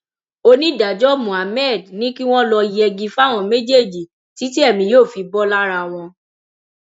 onídàájọ mohammed ni kí wọn lọọ yẹgi fáwọn méjèèjì títí èmi yóò fi bò lára wọn